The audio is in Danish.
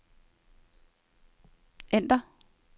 ændr